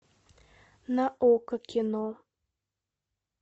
на окко кино